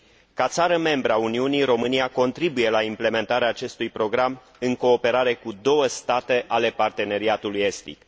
Ca țară membră a Uniunii, România contribuie la implementarea acestui program în cooperare cu două state ale Parteneriatului Estic.